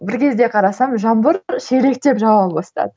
бір кезде қарасам жаңбыр шелектеп жауа бастады